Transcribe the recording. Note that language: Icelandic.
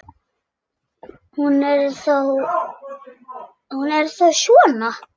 Hún er þá svona!